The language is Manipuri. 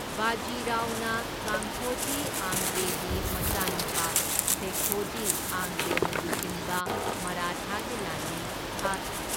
ꯕꯥꯖꯤ ꯔꯥꯎꯅ ꯀꯥꯟꯍꯣꯖꯤ ꯑꯥꯡꯒ꯭ꯔꯦꯒꯤ ꯃꯆꯥꯅꯨꯄꯥ ꯁꯦꯈꯣꯖꯤ ꯑꯥꯡꯒ꯭ꯔꯦꯅ ꯂꯨꯆꯤꯡꯕ ꯃꯔꯥꯊꯥꯒꯤ ꯂꯥꯟꯃꯤ ꯊꯥꯈꯤ꯫